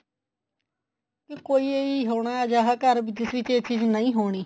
ਕਿ ਕੋਈ ਹੋਣਾ ਅਜਿਹਾ ਘਰ ਜਿਸ ਵਿੱਚ ਇਹ ਚੀਜ਼ ਨਹੀਂ ਹੋਣੀ